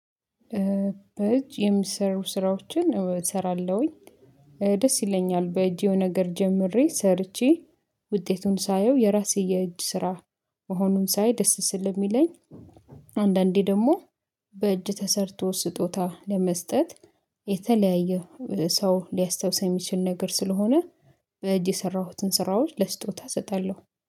በእጅ የምሰሩ ስራዎችን እሰራለሁኝ ደስ ይለኛል በእጄው ነገር ጀምሬ ሰርቼ ውጤቱን ሳየው የራሴ የእጅ ስራ መሆኑን ሳይ ደስ ስለሚለኝ። አንዳንዴ ደግሞ በእጅ ተሰርቶ ስጦታ ለመስጠት የተለያየ ሰው ሊያስታውሰን የሚችል ነገር ስለሆነ በእጅ የሰራሁትን ስራዎች ለስጦታ እሰጣለሁ፤